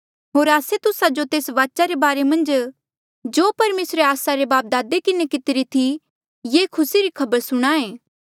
होर आस्से तुस्सा जो तेस्सा वाचा रे बारे मन्झ जो परमेसरे आस्सा रे जो बापदादे किन्हें कितिरी थी ये खुसी री खबर सुणाहें